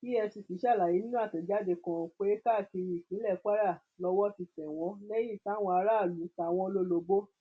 efcc ṣàlàyé nínú àtẹjáde kan pé káàkiri ìpínlẹ kwara lowó ti tẹ tẹ wọn lẹyìn táwọn aráàlú ta wọn lólobó